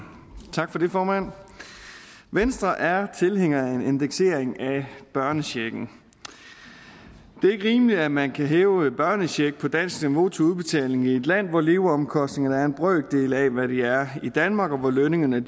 tak for det formand venstre er tilhængere af en indeksering af børnechecken det er ikke rimeligt at man kan hæve børnecheck på dansk niveau til udbetaling i et land hvor leveomkostningerne er en brøkdel af hvad de er i danmark og hvor lønningerne